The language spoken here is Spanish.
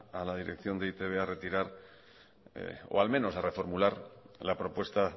a la dirección de e i te be a retirar o al menos a reformular la propuesta